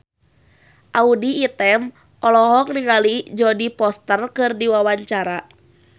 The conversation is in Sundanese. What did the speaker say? Audy Item olohok ningali Jodie Foster keur diwawancara